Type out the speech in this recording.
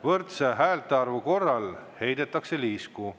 Võrdse häältearvu korral heidetakse liisku.